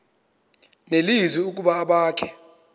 nelizwi ukuba abakhe